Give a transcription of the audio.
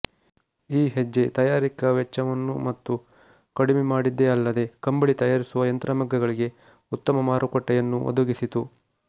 ಈ ಹೆಜ್ಜೆ ತಯಾರಿಕೆಯ ವೆಚ್ಚವನ್ನು ಮತ್ತೂ ಕಡಿಮೆ ಮಾಡಿದ್ದೇ ಅಲ್ಲದೆ ಕಂಬಳಿ ತಯಾರಿಸುವ ಯಂತ್ರಮಗ್ಗಗಳಿಗೆ ಉತ್ತಮ ಮಾರುಕಟ್ಟೆಯನ್ನೂ ಒದಗಿಸಿತು